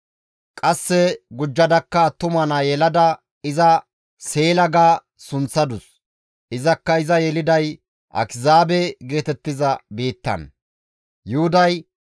Qasse gujjadakka attuma naa yelada iza Seela ga sunththadus. Izakka iza Akizaabe geetettiza biittan yeladus.